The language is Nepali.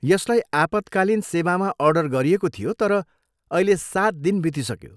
यसलाई आपतकालीन सेवामा अर्डर गरिएको थियो तर अहिले सात दिन बितिसक्यो।